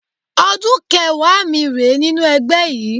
Ọdún kẹẹ̀wá mi rèé nínú ẹgbẹ́ yìí